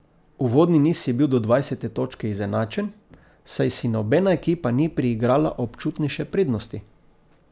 Uvodni niz je bil do dvajsete točke izenačen, saj si nobena ekipa ni priigrala občutnejše prednosti.